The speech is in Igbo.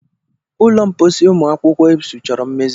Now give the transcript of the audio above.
Ụlọ mposi ụmụ akwụkwọ Ebsu chọrọ mmezi.